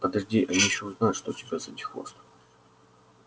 подожди они ещё узнают что у тебя сзади хвост